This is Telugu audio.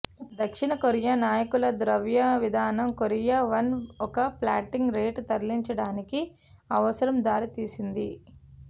దక్షిణ కొరియా నాయకుల ద్రవ్య విధానం కొరియా వన్ ఒక ఫ్లోటింగ్ రేటు తరలించడానికి అవసరం దారితీసింది